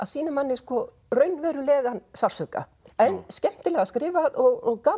sýna manni raunverulegan sársauka en skemmtilega skrifað og gaman